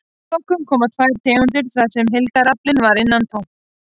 Að lokum koma tvær tegundir þar sem heildaraflinn var innan við tonn.